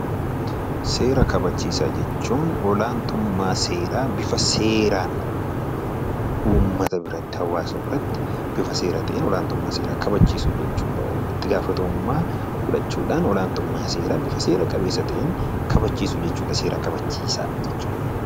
Seera kabachiisaa jechuun olaantummaa seeraa bifa seeraan uummata biratti olaantummaa seeraa kabachiisuu jechuudha. Olaantummaa seeraa kabachiisuudhaaf itti gaafatamummaa fudhachuun barbaachisaadha